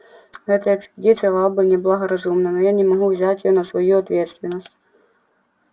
эта экспедиция была бы неблагоразумна я не могу взять её на свою ответственность